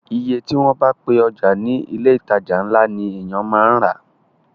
Iye tí wọ́n bá ti pe ọjà ní ilé ìtajà ńlá ni èyàn máa rà á.